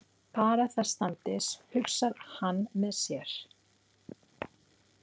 Bara það standist, hugsar hann með sér.